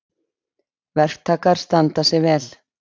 Verktakar standa sig vel